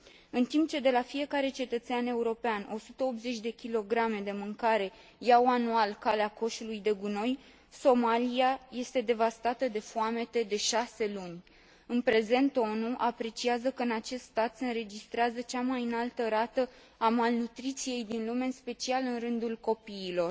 În timp ce de la fiecare cetățean european 180 de kilograme de mâncare iau anual calea coșului de gunoi, Somalia este devastată de foamete de șase luni. În prezent, ONU apreciază că în acest stat se înregistrează cea mai înaltă rată a malnutriției din lume, în special în rândul copiilor.